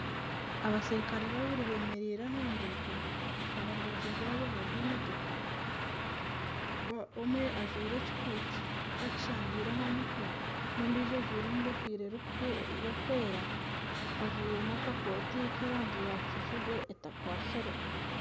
Abasirukare babiri bemereire aha nguuto aha rubaju rwaabo hariho emotooka omwe ajwaire ekikooti akishangire aha mutwe n'ondiijo ajwaire egofiira erikwera ajwaire n'akakooti k'erangi ya kijubwe etakwatsire.